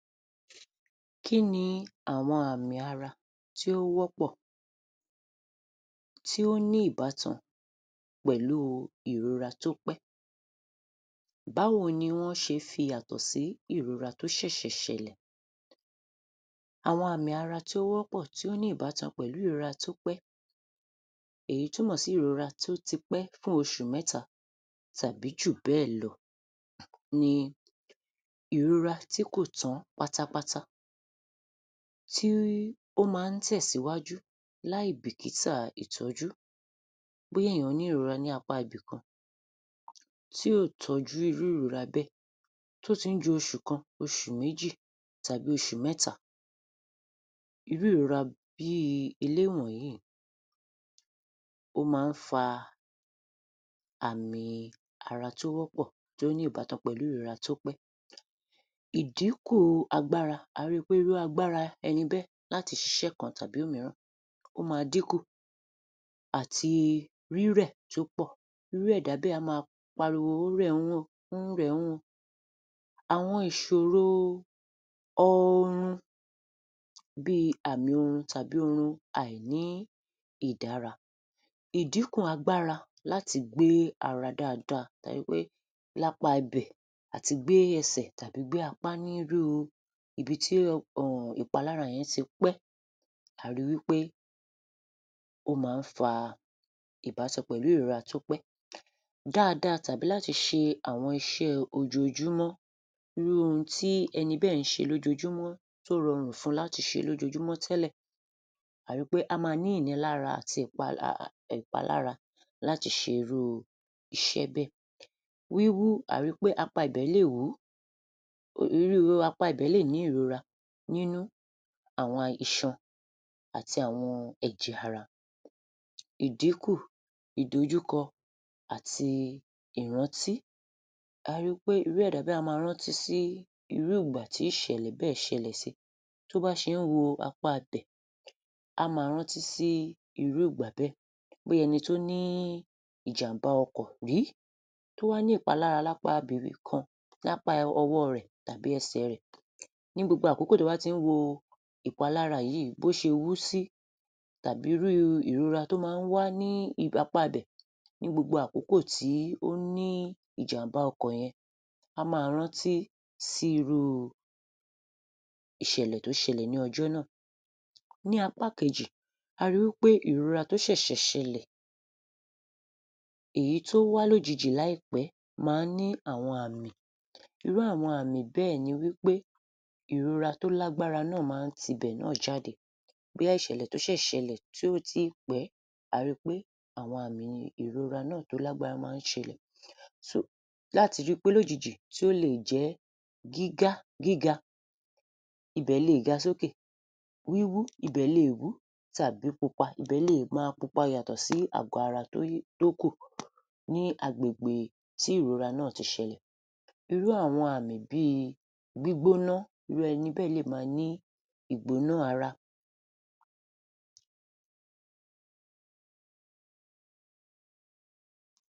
Kí ni àwọn àmì ara tí ó wọ́pọ̀, tí ó ní ìbátan pẹ̀lúu ìrora tó pẹ́. Báwo ni wọ́n ṣe fi ìyàtọ̀ sí ìrora tó ṣẹ̀ṣẹ̀ ṣẹlẹ̀. Àwọn àmì ara tí ó wọ́pọ̀ tí ó ní ìbátan pẹ̀lú ìrora tó pẹ́, èyí túmọ̀ sí ìrora tó ti pẹ́ fún oṣù mẹ́ta tàbí jùbẹ́ẹ̀ lọ ni ìrora tí kò tán pátápátá tí ó máa ń tẹ̀síwájú láìbìkítà ìtọ́jú. Bóyá èèyàn ní ìrora lápá Ibìkan tí ò tọ́jú irú ìrora bẹ́ẹ̀ tó ti ń ju oṣù kan, oṣù méjì tàbí oṣù mẹ́ta. Irú ìrora bíi eléwọ̀yí, ó máa ń fa àmì ara tí ó wọ́pọ̀ tó ní ìbátan pẹ̀lú ìrora tópẹ́. Idíkù agbára, a rí pé irú agbára ẹni bẹ́ẹ̀ láti ṣiṣẹ́ kan tàbí òmíràn, ó máa dínkù àti rírẹ̀ tí ó pọ̀. Irú ẹ̀dá bẹ́ẹ̀ a máa pariwo ó rẹ̀'un, ó rẹ̀'un. Àwọn ìṣòro oorun bíi àmì orun tàbí oorun àìní ìdára, ìdínkù agbára láti gbé ara dáadáa tó ṣe pé lápá ibẹ̀ àti gbé ẹsẹ̀ tàbí gbé apá nírúu ibi tí um ìpalára yẹn ti pẹ́, àá ríi wí pé ó máa ń fa ìbátan pẹ̀lú ìrora tó pẹ́ dáadáa tàbí láti ṣe àwọn iṣẹ́ ojoojúmọ́, irú ohun tí ẹni bẹ́ẹ̀ ń ṣe lójoojúmọ́, tó rọrùn fún un láti ṣe lójoojúmọ́ tẹ́lẹ̀, àá ri pé á máa ní ìnira àti ìpalára láti ṣe irú iṣẹ́ bẹ́ẹ̀. Wíwú, àá ri pé apá ibẹ̀ lè wú, irú apá ibẹ̀ lè ní ìrora nínú àwọn um iṣan àti àwọn ẹ̀jẹ̀ ara. Ìdínkù, ìdojúkọ àti ìrántí, àá ríi pé irú ẹ̀dá bẹ́ẹ̀ á máa rántí sí irú ìgbà tí ìṣẹ̀lẹ̀ bẹ́ẹ̀ ṣẹlẹ̀ síi, tó bá ṣe ń wo apá-abẹ̀, á máa rántí sí irú ìgbà bẹ́ẹ̀. Bóyá ẹni tó ní ìjàmbá ọkọ̀ rí tó wá ní ìpalára lápá Ibìkan, lápá ọwọ́ọ rẹ̀ àbí ẹsè rẹ̀. Ní gbogbo àkókò tó bá ti ń wo ìpalára yìí, bó ṣe wú sí tàbí irú ìrora tó máa ń wá ní um apá-abẹ̀ ní gbogbo àkókò tí ó ní ìjàmbá ọkọ̀ yẹn, á máa rántí sí irú ìṣẹ̀lẹ̀ tó ṣẹlẹ̀ ní ọjọ́ náà. Ní apá kejì, a ri wí pé ìrora tó ṣẹ̀ṣẹ̀ ṣẹlẹ̀, èyí tó wá lójijì láìpẹ́ máa ń ní àwọn àmì, irú àwọn àmì bẹ́ẹ̀ ni wí pé ìrora tó lágbára náà máa ń tibẹ̀ náà jáde bóyá ìṣẹ̀lẹ̀ tó ṣẹ̀ ṣẹlẹ̀ tí ò tíì pẹ́, a ríi pé àwọn àmì ìrora náà tó lágbára máa ń ṣẹlẹ̀ um láti jí lójijì tí ó leè jẹ́ gígá gíga, ibẹ̀ leè ga sókè, wíwú ibẹ̀ lè wú tàbí pupa, ibẹ̀ lè máa pupa yàtọ̀ sí àgọ́ ara tóyí tókùn ní agbègbè tí ìrora náà ti ṣẹlẹ̀.. Irú àwọn àmì bíi gbígbóná, irú ẹni bẹ́ẹ̀ lè máa ní ìgbóná ara